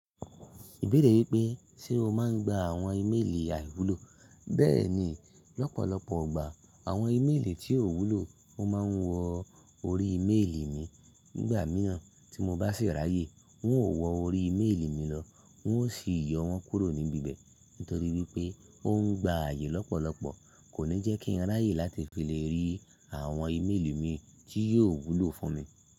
Ìbéèrè wípé ṣe o máa ń gba àwon imélì àìwúlò, bẹ́ẹ̀ni lọ́pọ̀lọpọ̀ igbà àwon imélì tí ò wúlò máa ń wọ orí imélì mi. Nígbà mìíràn tí mo bá sì ráyè, n won ò wọ orí mélì mi lọ wọn ó sì yọ wọn kúrò níbi ibẹ̀ nítorí wípé o ń gba àyè lọ́pọ̀lọpọ̀. Kò ní jẹ́ kí n ráyè láti fi lè rí àwon imélì mi tí yiò wúlò fún mi.